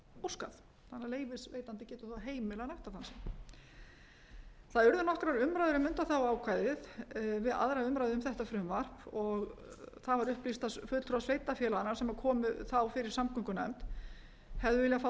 óskað þannig að leyfisveitandi getur þá heimilað nektardansinn það urðu nokkrar umræður um ákvæðið við aðra umræðu um þetta frumvarp það var upplýst af fulltrúa sveitarfélaganna sem komu þá fyrir samgöngunefnd hefðu viljað fá